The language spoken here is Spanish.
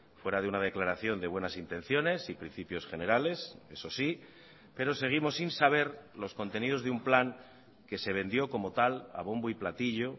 fuera de una declaración de buenas intenciones y principios generales eso sí pero seguimos sin saber los contenidos de un plan que se vendió como tal a bombo y platillo